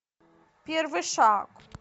первый шаг